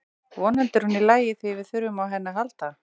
Vonandi er hún í lagi því við þurfum á henni að halda.